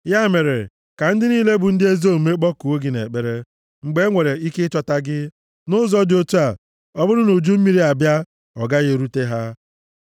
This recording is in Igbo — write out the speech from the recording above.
Ya mere, ka ndị niile bụ ndị ezi omume kpọkuo gị nʼekpere mgbe e nwere ike ịchọta gị; nʼụzọ dị otu a, ọ bụrụ na uju mmiri abịa, ọ gaghị erute ha.